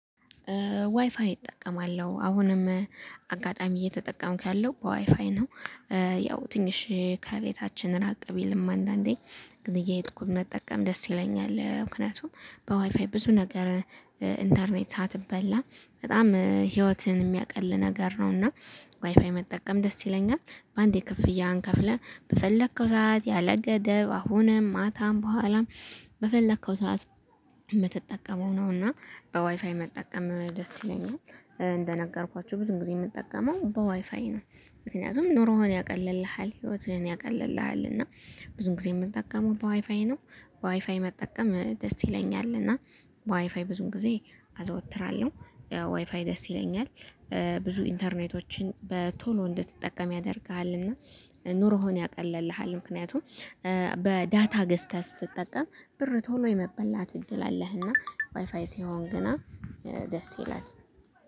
ዋይፋይ እጠቀማለሁ አሁንም አጋጣሚ እየተጠቀምክ ያለው ዋይፋይ ነው። ያው ትንሽ ከቤታችን ራቅ ቢልም አንዳንዴ ግን እየሄድኩኝ መጠቀም ደስ ይለኛል። ምክንያቱም በዋይፋይ ብዙ ነገር ኢንተርኔት ሳትበላ በጣም ህይወትን የሚያቅል ነገር ነው። እና ዋይፋይ መጠቀም ደስ ይለኛል። በአንዴ ክፍያ አንከፍልህ በፈለከው ሰዓት ያለ ገደብ አሁንም ማታም በኋላም በፈለከው ሰዓት የምትጠቀመው ነው። እና በዋይፋይ መጠቀም ደስ ይለኛል። እንደነገርኳችሁ ብዙ ጊዜ የምጠቀመው በዋይፋይ ነው። ምክንያቱም ኑሮህን ያቀልልሃል ህይወትህን ያቀልልሃል እና ብዙ ጊዜ የምጠቀመው በዋይፋይ ነው። በዋይፋይ መጠቀም ደስ ይለኛል። እና ዋይፋይ ብዙን ጊዜ አዘወትራለሁ ዋይፋይ ደስ ይለኛል። ብዙ ኢንተርኔቶችን በቶሎ እንድትጠቀም ያደርግሃልና ኑሮሆን ያቀልልሃል። ምክንያቱም በዳታ ገዝተህ ስትጠቀም ብር ቶሎ የመበላት እድል አለህና ዋይፋይ ሲሆን ግና ደስ ይላል